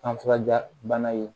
An furajiya bana ye